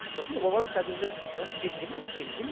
сосын ол бала қазір уже отыз жеті де ме отыз сегізде ме